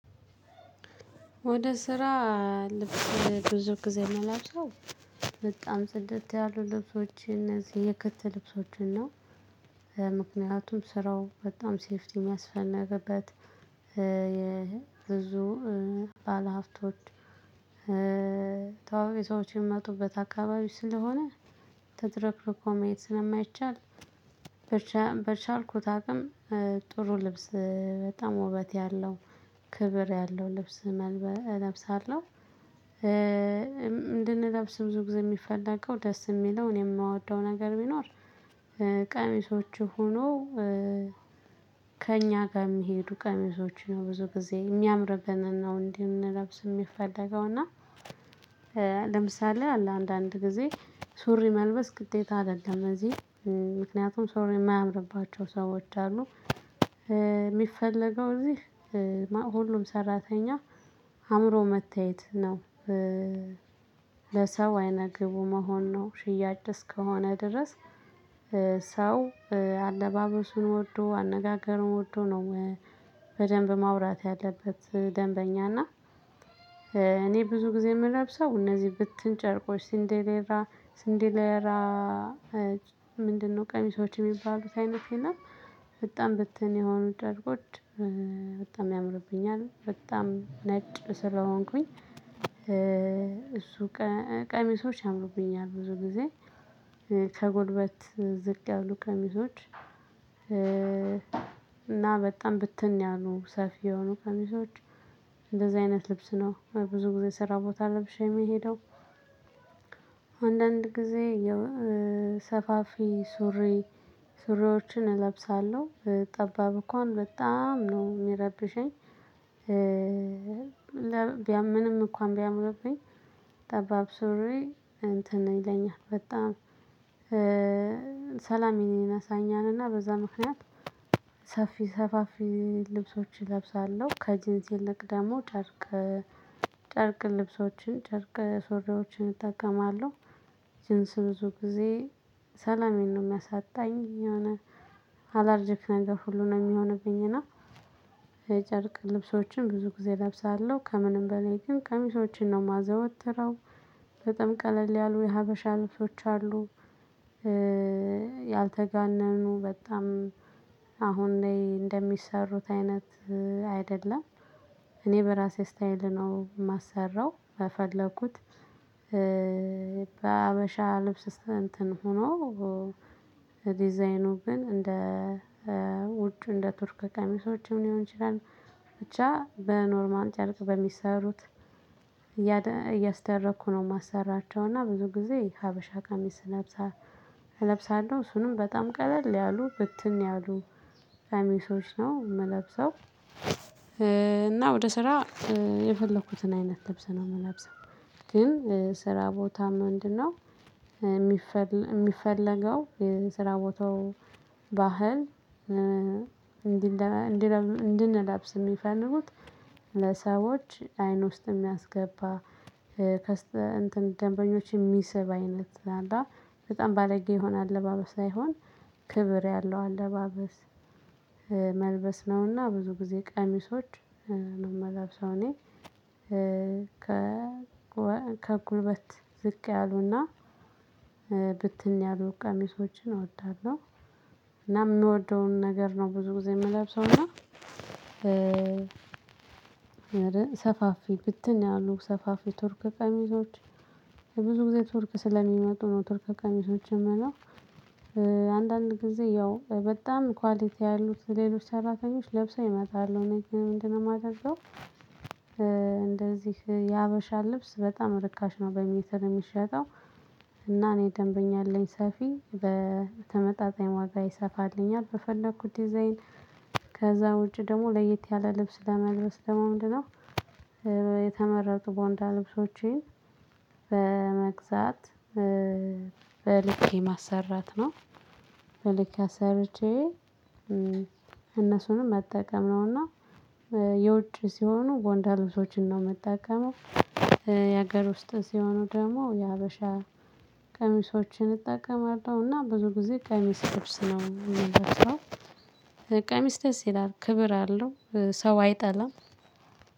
ወደ ስራ ልብስ ብዙ ጊዜ ምለብሰው በጣም ጽደት ያሉ ልብሶች እነዚህ የክት ልብሶችን ነው። ምክንያቱም ስራው በጣም ሴፍቲ የሚያስፈልግበት። የብዙ ባለሀብቶች ታዋቂ ሰዎች የሚመጡበት አካባቢ ስለሆነ ተዝረክርኮ መሄድ ስለማይቻል። በቻልኩት አቅም ጥሩ ልብስ በጣም ውበት ያለው ክብር ያለው ልብስ እለብሳለሁ። እንድንለብስ ብዙ ጊዜ የሚፈለገው ደስ የሚለው እኔ የምወደው ነገር ቢኖር። ቀሚሶቹ ሁኖ። ከእኛ ጋር የሚሄዱ ቀሚሶች ነው ብዙ ጊዜ የሚያምርብንን ነው እንድንለብስ የሚፈለገው እና። ለምሳሌ አለ አንዳንድ ጊዜ ሱሪ መልበስ ግዴታ አይደለም እዚህ ምክንያቱም ሶሪ የማያምርባቸው ሰዎች አሉ። የሚፈለገው እዚህ ሁሉም ሰራተኛ አምሮ መታየት ነው። ለሰው አይነ ግቡ መሆን ነው ሽያጭ ደስ እስከሆነ ድረስ ሰው አለባበሱን ወዶ አነጋገሩን ወዶ ነው። በደንብ ማውራት ያለበት ደንበኛ እና። እኔ ብዙ ጊዜ የምለብሰው እነዚህ ብትን ጨርቆች ስንዴሌራ ስንዴሌራ ምንድነው? ቀሚሶች የሚባሉት አይነት የለም። በጣም ብትን የሆኑ ጨርቆች። በጣም ያምርብኛል በጣም ነጭ ስለሆንኩኝ እሱ ቀሚሶች ያምሩብኛል ብዙ ጊዜ ከጉልበት ዝቅ ያሉ ቀሚሶች። እና በጣም ብትን ያሉ ሰፊ የሆኑ ቀሚሶች። እንደዚህ አይነት ልብስ ነው ብዙ ጊዜ ስራ ቦታ ለብሼ የምሄደው። አንዳንድ ጊዜ ሰፋፊ ሱሪ ሱሪዎችን እለብሳለሁ ጠባብ እንኳን በጣም ነው የሚረብሸኝ። ቢያምንም ምንም እንኳን ቢያምርብኝ ጠባብ ሱሪ እንትን ነው ይለኛል በጣም። ሰላም ይነሳኛል እና በዛ ምክንያት ሰፊ ሰፋፊ ልብሶችን እለብሳለሁ ከጅንስ ይልቅ ደግሞ ጨርቅ። ጨርቅ ልብሶችን ጨርቅ ሱሪዎችን እጠቀማለሁ። ጅንስ ብዙ ጊዜ ሰላሜን ነው የለውም የሚያሳጣኝ የሆነ አላርጂክ ነገር ሁሉ ነው የሚሆንብኝ እና። የጨርቅ ልብሶችን ብዙ ጊዜ እለብሳለሁ ከምንም በላይ ግን ቀሚሶችን ነው የማዘወትረው። በጣም ቀለል ያሉ የሀበሻ አልቦች አሉ። ያልተጋነኑ በጣም አሁን ላይ እንደሚሰሩት አይነት አይደለም። እኔ በራሴ ስታይል ነው የማሰራው በፈለኩት። በሀበሻ ልብስ እንትን ሆኖ። ዲዛይኑ ግን እንደ ውጭ እንደ ቱርክ ቀሚሶችም ሊሆን ይችላል። ብቻ በኖርማል ጨርቅ በሚሰሩት እያደ እያስደረኩ ነው የማሰራቸው። እና ብዙ ጊዜ ሀበሻ ካሚስ እለብሳ እለብሳለሁ እሱንም በጣም ቀለል ያሉ ብትን ያሉ ቀሚሶች ነው የምለብሰው። እና ወደ ስራ የፈለኩትን አይነት ልብስ ነው ምለብሰው። ግን ስራ ቦታም ምንድነው? የሚፈል የሚፈለገው ስራ ቦታው ባህል። እንድንለብስ የሚፈልጉት ለሰዎች አይን ውስጥ የሚያስገባ ከስተ እንትን ደንበኞች የሚስብ አይነት አላ በጣም ባለጌ የሆነ አለባበስ ሳይሆን። ክብር ያለው አለባበስ። መልበስ ነውና ብዙ ጊዜ ቀሚሶች ነው የምለብሰው እኔ። ከ ከጉልበት ዝቅ ያሉና ብትን ያሉ ቀሚሶችን እወዳለሁ። እና የምወደውን ነገር ነው ብዙ ጊዜ የምለብሰው እና። ሰፋፊ ብትን ያሉ ሰፋፊ ቱርክ ቀሚሶች ብዙ ጊዜ ቱርክ ስለሚመጡ ነው ቱርክ ቀሚሶች ምለው። አንዳንድ ጊዜ ያው በጣም ኳሊቲ ያሉት ሌሎች ሰራተኞች ለብሰኝ እመጣለሁ። እኔ ምንድነው? የማደርገው እንደዚህ የሀበሻ ልብስ በጣም ርካሽ ነው በሜትር የሚሸጠው። እና እኔ ደንበኛ አለኝ ሰፊ በተመጣጣኝ ዋጋ ይሰፋልኛል በፈለኩት ዲዛይን። ከዛ ውጪ ደግሞ ለየት ያለ ልብስ ለመልበስ ደግሞ ምንድን ነው? የተመረጡ ቦንዳ ልብሶቼን በመግዛት በልኬ ማሰራት ነው። በልኬ አሰርቼ እነሱንም መጠቀም ነውና። የውጭ ሲሆኑ ቦንዳ ልብሶችን ነው ምጠቀመው። የሀገር ውስጥ ሲሆኑ ደግሞ የሀበሻ ቀሚሶችን እጠቀማለሁና ብዙ ጊዜ ቀሚስ ልብስ ነው የምልብሰው። ቀሚስ ደስ ይላል ክብር አለው። ሰው አይጠላም።